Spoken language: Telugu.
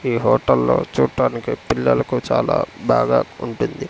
ఈ హోటల్లో చూట్టానికి పిల్లలకు చాలా బాగా ఉంటుంది.